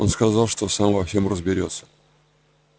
он сказал что сам во всем разберётся